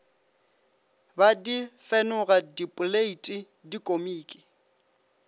be di fenoga dipoleiti dikomiki